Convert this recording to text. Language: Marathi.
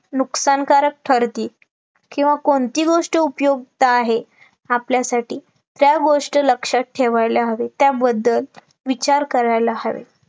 नुकसानकारक ठरते किंवा कोणती गोष्ट उपयुक्त आहे, आपल्यासाठी त्या गोष्ट लक्षात ठेवायला हवी, त्याबद्दल विचार करायला हवे